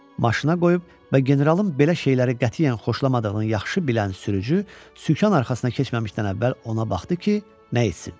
Maşına qoyub və generalın belə şeyləri qətiyyən xoşlamadığını yaxşı bilən sürücü sükan arxasına keçməmişdən əvvəl ona baxdı ki, nə etsin.